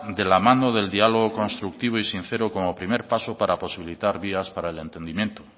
de la mano del diálogo constructivo y sincero como primer paso para posibilitar vías para el entendimiento